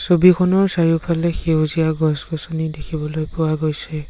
ছবিখনৰ চাৰিওফালে সেউজীয়া গছ গছনি দেখিবলৈ পোৱা গৈছে।